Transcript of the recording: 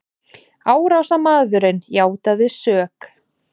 Árásarmaðurinn játaði sök